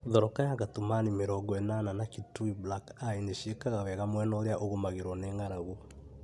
Thoroka ya Katumani 80(mĩrongo ĩnana) na Kitui black eye nĩ ciĩkaga wega mwena ũrĩa ũgũmagĩrwo nĩ ng'aragu